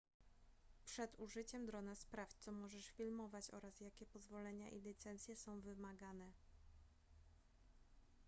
przed użyciem drona sprawdź co możesz filmować oraz jakie pozwolenia i licencje są wymagane